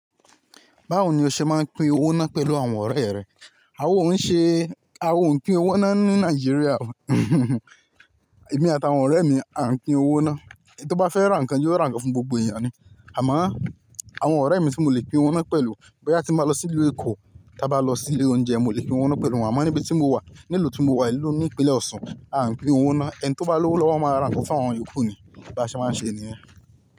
Báwo ni o ṣe máa ń pín owó ná pẹ̀lú àwọn ọ̀rẹ́ rẹ? A ò ń ṣe, a ò ń pín owó ná ní Nàìjíríà. Èmi àtàwọn ọ̀rẹ́ mi à ń pín owó ná. Ẹni tó bá fẹ́ ra nǹkan yóò ra nǹkan fún gbogbo èèyàn ni. Àmá, àwọn ọ̀rẹ́ mi tí mo lè pín owó ná pẹ̀lú, bóyá tí máa lọ sí ilé ẹkọ, tí a bá lọ sí ilé oúnjẹ, mo lè pín owó ná pẹ̀lú wọ́n. A máa níbi tí mo wà, ní ìlú tí mo wà, ìlú ní ìpínlẹ̀ Ọ̀ṣun, à ń pín owó ná. Ẹni tó bá lówó lọ wọ́n máa ra nǹkan fún àwọn iyoku ni. Bá ṣe máa ń ṣe nìyẹn.